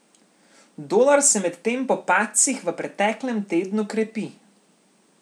Dolar se medtem po padcih v preteklem tednu krepi.